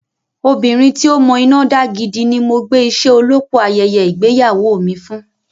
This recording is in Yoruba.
Obìnrin tí ó mọ iná dá gidi ni mo gbé iṣẹ́ olópò ayẹyẹ ìgbéyàwó mi fún.